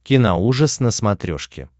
киноужас на смотрешке